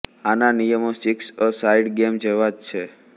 આના નિયમો six a side game જેવા જ છે